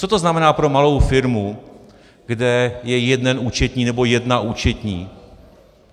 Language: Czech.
Co to znamená pro malou firmu, kde je jeden účetní nebo jedna účetní?